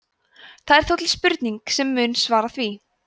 það er þó til spurning sem mun svara því